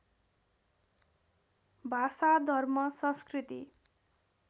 भाषा धर्म संस्कृति